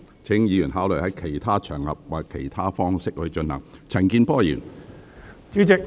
請議員考慮在其他場合或以其他方式進行。